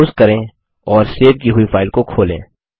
browse करें और save की हुई फाइल को खोलें